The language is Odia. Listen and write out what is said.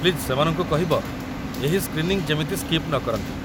ପ୍ଲିଜ୍ ସେମାନଙ୍କୁ କହିବ ଏହି ସ୍କ୍ରିନିଂ ଯେମିତି ସ୍କିପ୍ ନକରନ୍ତି